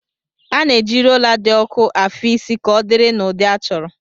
A na-eji rólá dị ọku afị isi ka ọdịrị n'ụdị achọrọ